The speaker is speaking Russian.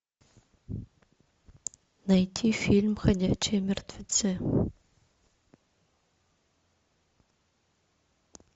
найти фильм ходячие мертвецы